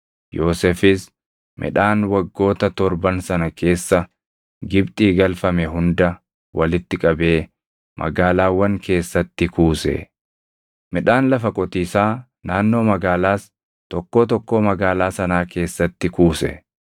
Yoosefis midhaan waggoota torban sana keessa Gibxii galfame hunda walitti qabee magaalaawwan keessatti kuuse. Midhaan lafa qotiisaa naannoo magaalaas tokkoo tokkoo magaalaa sanaa keessatti kuuse.